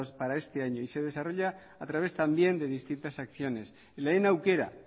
para este año y se desarrolla a través también de distintas acciones lehen aukera